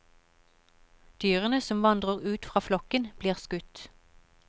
Dyrene som vandrer ut fra flokken, blir skutt.